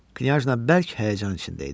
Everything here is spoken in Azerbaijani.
Knyajna bərk həyəcan içində idi.